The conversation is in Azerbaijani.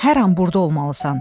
Hər an burda olmalısan.